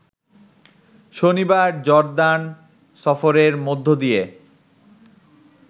শনিবার জর্দান সফরের মধ্য দিয়ে